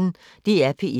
DR P1